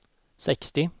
sextio